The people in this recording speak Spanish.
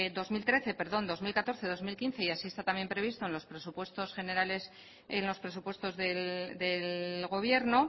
dos mil trece perdón dos mil catorce dos mil quince y así está también previsto en los presupuestos generales en los presupuestos del gobierno